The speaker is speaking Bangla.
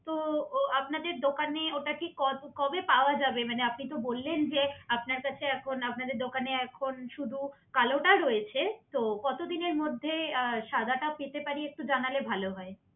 তো আপনাদের দোকানে ওটা কি কত কবে পাওয়া যাবে মানে আপনি তো বললেন যে আপনার কাছে এখন আপনাদের দোকানে এখন শুধু কালোটা রয়েছে তো কতদিনের মধ্যে সাদাটা পেতে পারি সেটা জানালে একটু ভালো হয়